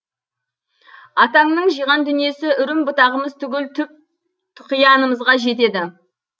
атаңның жиған дүниесі үрім бұтағымыз түгіл түп тұқиянымызға жетеді